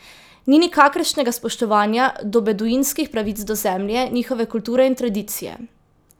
Ni nikakršnega spoštovanja do beduinskih pravic do zemlje, njihove kulture in tradicije.